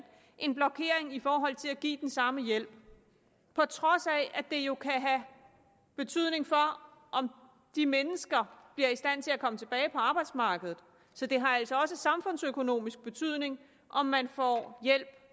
en blokering i forhold til at give den samme hjælp på trods af at det jo kan have betydning for om de mennesker bliver i stand til at komme tilbage på arbejdsmarkedet så det har altså også samfundsøkonomisk betydning om man får hjælp